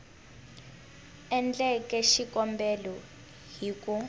a endleke xikombelo hi ku